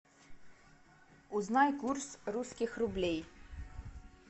узнай курс русских рублей